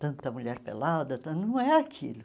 Tanta mulher pelada, tan não é aquilo.